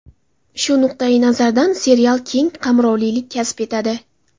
Shu nuqtayi nazardan serial keng qamrovlilik kasb etadi.